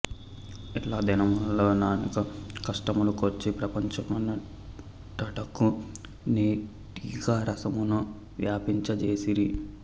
ఇట్లా దినములలో ననేక కష్టముల కోర్చి ప్రపంచమంటటకు నీ టీకా రసమును వ్వాపింప జేసిరి